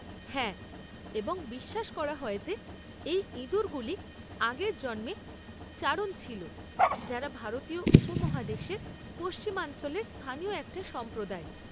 হ্যাঁ, এবং বিশ্বাস করা হয় যে এই ইঁদুরগুলি আগের জন্মে চারণ ছিল, যারা ভারতীয় উপমহাদেশের পশ্চিমাঞ্চলের স্থানীয় একটা সম্প্রদায়।